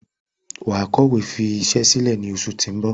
Wàá kọ̀wé fi isẹ́ sílẹ̀ ní oṣù ti ń bò